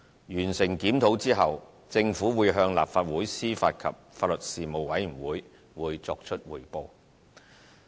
完成檢討後，政府會向立法會司法及法律事務委員會作出匯報。